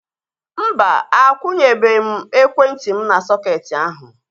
Mba, akwunyebe m ekwentị m n'sọketi ahu